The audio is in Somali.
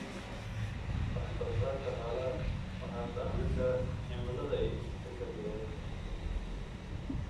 Wax-soo-saarka xoolaha waxaa saamayn kara cimilada iyo is-beddelka deegaanka.